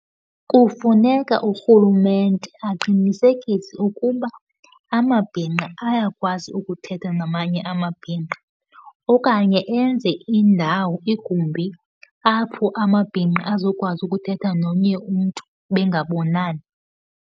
Kufuneka urhulumente aqinisekise ukuba amabhinqa ayakwazi ukuthetha namanye amabhinqa okanye enze indawo, igumbi, apho amabhinqa azokwazi ukuthetha nomnye umntu bengabonani.